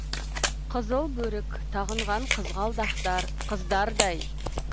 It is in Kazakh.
қызыл бөрік тағынған қызғалдақтар қыздардай